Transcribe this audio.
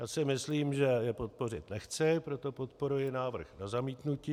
Já si myslím, že je podpořit nechci, proto podporuji návrh na zmítnutí.